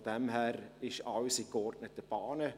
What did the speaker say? Von daher läuft alles in geordneten Bahnen.